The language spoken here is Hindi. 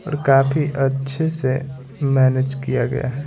और काफी अच्छे से मैनेज किया गया है।